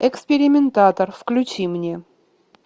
экспериментатор включи мне